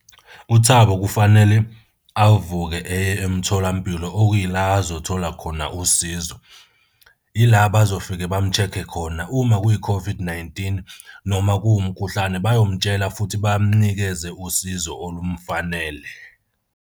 UThabo kufanele avuke eye emtholampilo okuyila azothola khona usizo. Ila abazofika bamu-check-e khona uma kuyi-COVID-19 noma kumkhuhlane, bayomtshela futhi bamunikeze usizo olumufanele.